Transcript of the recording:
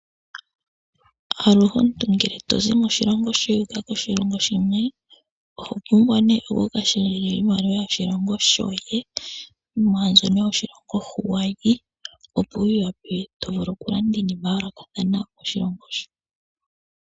Aluhe omuntu ngele tozi moshilongo shoye wuka koshilongo shimwe oho pumbwa ne oku ka shendja iimaliwa yoshilongo shoye mwa mbyono yoshilongo hu wayi opo wu wape wu vule oku landa iinima ya yoolokathana koshilongo sho.